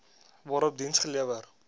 waarop diens gelewer